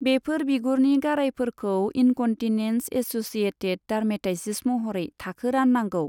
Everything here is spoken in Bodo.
बेफोर बिगुरनि गारायफोरखौ इन्कन्टिनेन्स एस'सिएटेड डार्मेटाइटिस महरै थाखो राननांगौ।